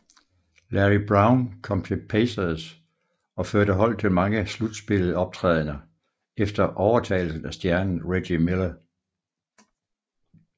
Larry Brown kom til Pacers og førte holdet til mange slutspillet optrædener efter overtagelsen af stjernen Reggie Miller